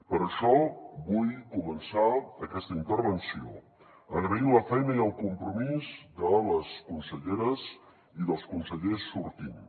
per això vull començar aquesta intervenció agraint la feina i el compromís de la consellera i dels consellers sortints